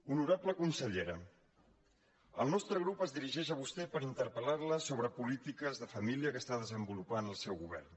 honorable consellera el nostre grup es dirigeix a vostè per interpel·lar la sobre polítiques de família que està desenvolupant el seu govern